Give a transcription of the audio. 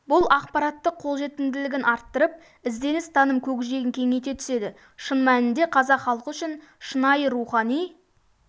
бұл ақпараттық қолжетімділігін арттырып ізденіс таным көкжиегін кеңейте түседі шын мәнінде қазақ халқы үшін шынайы рухани